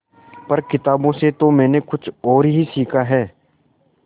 पर किताबों से तो मैंने कुछ और ही सीखा है